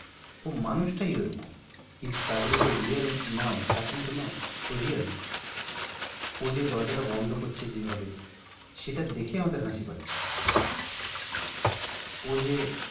ও মানুষটাই ঐরকম কিন্তু তা বলে যে ও real নয় তা কিন্তু নয়, ও real ও যে দরজাটা বন্ধ করছে যেভাবে সেটা দেখে আমাদের হাসি পাচ্ছে। ও যে,